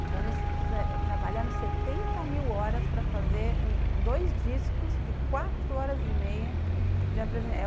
Então, eles trabalharam setenta mil horas para fazer dois discos de quatro horas e meia de apresentação.